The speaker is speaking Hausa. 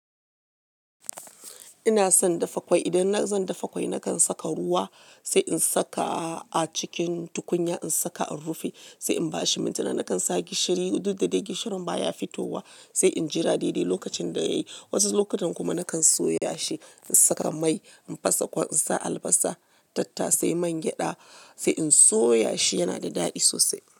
Ina son dafa ƙwai. Idan zan dafa ƙwai, nakan saka ruwa, sai in saka a cikin tukunya, in saka a rufi, sai in ba shi mintuna. Nakan sa gishiri, duk da dai gishirin baya fitowa, sai in jira daidai lokacin da ya yi. Wasu lokutan kuma nakan soya shi, in saka mai, in fasa ƙwai, in sa albasa, tatta, sai man gyada, sai in soya shi. Yana da daɗi sosai.